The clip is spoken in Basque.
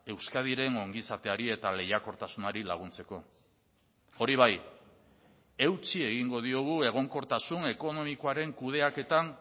euskadiren ongizateari eta lehiakortasunari laguntzeko hori bai eutsi egingo diogu egonkortasun ekonomikoaren kudeaketan